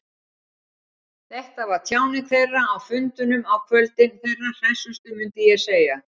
Þetta var tjáning þeirra, á fundunum á kvöldin, þeirra hressustu, myndi ég segja.